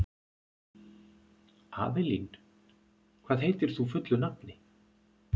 Avelín, hvað heitir þú fullu nafni?